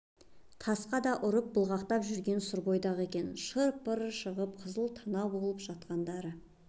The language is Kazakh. тасқа да ұрып былғақтап жүрген сұр бойдақ екен шыр-пырлары шығып қызыл танау болып жатқандары